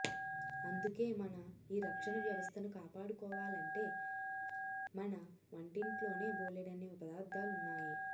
అందుకే మన ఈ రక్షణ వ్యవస్థను కాపాడుకోవాలంటే మన వంటింట్లోనే బోలెడన్ని పదార్థాలున్నాయి